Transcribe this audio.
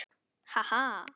Ha ha.